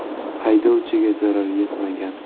Haydovchiga zarar yetmagan.